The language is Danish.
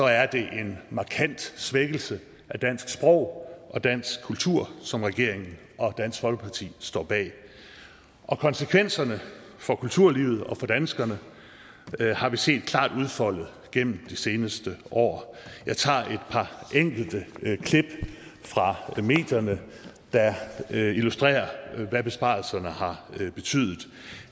er det en markant svækkelse af dansk sprog og dansk kultur som regeringen og dansk folkeparti står bag og konsekvenserne for kulturlivet og for danskerne har vi set klart udfoldet gennem det seneste år jeg tager et par enkelte klip fra medierne der illustrerer hvad besparelserne har betydet